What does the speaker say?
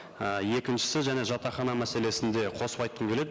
і екіншісі және жатақхана мәселесін де қосып айтқым келеді